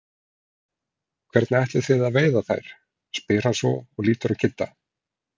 Hvernig ætlið þið að veiða þær? spyr hann svo og lítur á Kidda.